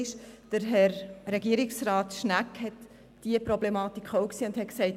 Herr Regierungsrat Schnegg hat diese Problematik auch gesehen und gesagt: